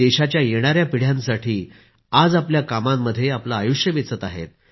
ते देशाच्या येणाऱ्या पिढ्यांसाठी आज आपल्या कामांमध्ये आपले आयुष्य वेचत आहेत